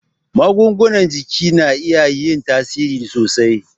Magungunan jiki na iya yin tasiri sosai